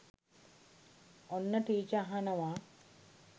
ඔන්න ටීච අහනව